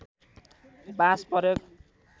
बाँस प्रयोग